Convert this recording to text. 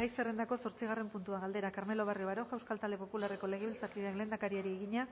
gai zerrendako zortzigarren puntua galdera carmelo barrio baroja euskal talde popularreko legebiltzarkideak lehendakariari egina